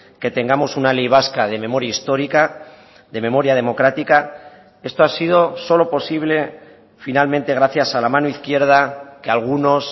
que tengamos una ley vasca de memoria histórica de memoria democrática esto ha sido solo posible finalmente gracias a la mano izquierda que algunos